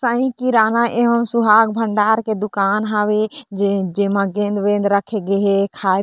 साई किराना एंव सुहाग भंडार के दुकान हवे जेमा गेंद-वेद रखे गे हे खाई--